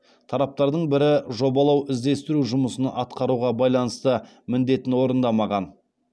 тараптардың бірі жобалау іздестіру жұмысын атқаруға байланысты міндетін орындамаған